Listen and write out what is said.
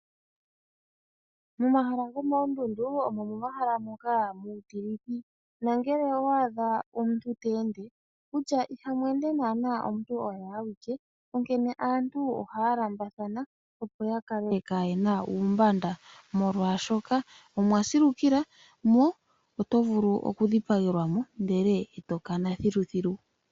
Momahala gomoondundu omo momahala moka muutilithi nangele owa adha omuntu te ende wutya ihamu ende naana omuntu oye awike, onkene aantu ohaya lambathana opo ya kale kaayena uumbanda molwaashoka omwa silukila mo oto vulu okudhipagelwa mo ndele eto kana thiluthilu.